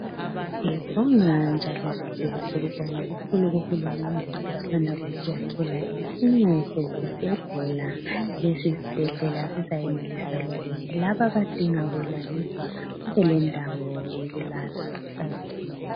Sibonge njalo sidlulise ukubonga kuhulumende osanda kusiyakhela esinye sezibhedlela lesi isibhedlela sizayenelisa ukuthi labo abadinga ukulaliswa babe lendawo yokulala.